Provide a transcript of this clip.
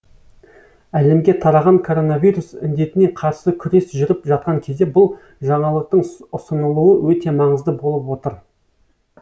әлемге тараған коронавирус індетіне қарсы күрес жүріп жатқан кезде бұл жаңалықтың ұсынылуы өте маңызды болып отыр